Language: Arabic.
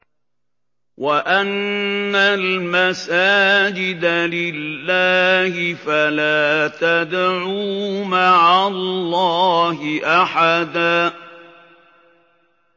وَأَنَّ الْمَسَاجِدَ لِلَّهِ فَلَا تَدْعُوا مَعَ اللَّهِ أَحَدًا